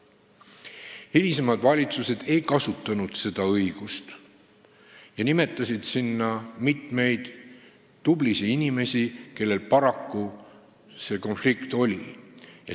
Hilisemad valitsused ei kasutanud seda õigust ja nimetasid sinna mitmeid tublisid inimesi, kellel paraku see konflikt tekkis.